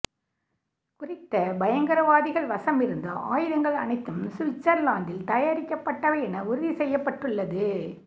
குறித்த பயங்கரவாதிகள் வசமிக்ருந்த ஆயுதங்கள் அனைத்தும் சுவிட்சர்லாத்தில் தயாரிக்கப்பட்டவை என உறுதி செய்யப்பட்டுள்ளது